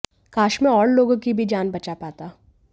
काश मैं और लोगों की भी जान बचा पाता